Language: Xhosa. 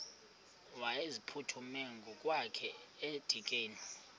wayeziphuthume ngokwakhe edikeni